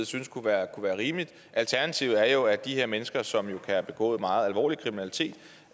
synes kunne være rimelig alternativet er jo at de her mennesker som kan have begået meget alvorlig kriminalitet